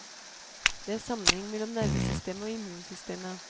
Det er en sammenheng mellom nervesystemet og immunsystemet.